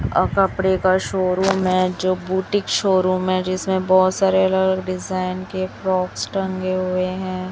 और कपड़े का शोरूम है जो बुटीक शोरूम है जिसमें बहोत सारे अलग-अलग डिजाइन के फ्रॉक्स टंगे हुए है।